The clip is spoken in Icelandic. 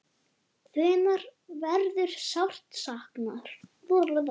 Hennar verður sárt saknað.